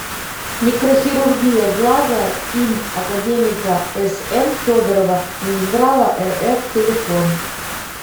микрохирургия глаза им академика сн федорова минздрава рф телефон